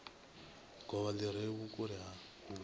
govha li re vhukule hu